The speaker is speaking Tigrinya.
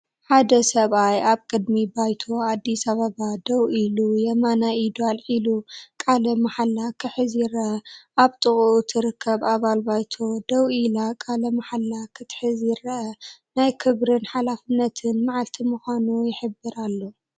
ሓደ ሰብኣይ ኣብ ቅድሚ ባይቶ ኣዲስ ኣበባ ደው ኢሉ የማናይ ኢዱ ኣልዒሉ ቃለ መሓላ ክሕዝ ይርአ። ኣብ ጥቓኡ ትርከብ ኣባል ባይቶ ደው ኢላ ቃለ መሓላ ክትሕዝ ይረአ። ናይ ክብርን ሓላፍነትን መዓልቲ ምዃኑ ይሕብር ኣሎ።